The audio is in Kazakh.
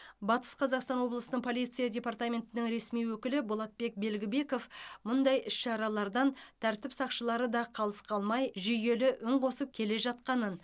батыс қазақстан облысының полиция департаментінің ресми өкілі болатбек белгібеков мұндай іс шаралардан тәртіп сақшылары да қалыс қалмай жүйелі үн қосып келе жатқанын